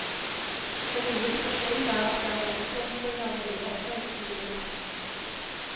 Den nye situasjonen er at det er en oppblomstring av mulighetene i det sivile samfunn.